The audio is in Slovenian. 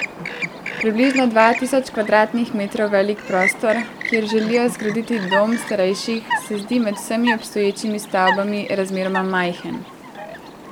Približno dva tisoč kvadratnih metrov velik prostor, kjer želijo zgraditi dom starejših, se zdi med vsemi obstoječimi stavbami razmeroma majhen.